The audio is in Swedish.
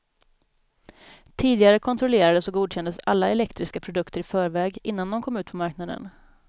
Tidigare kontrollerades och godkändes alla elektriska produkter i förväg, innan de kom ut på marknaden.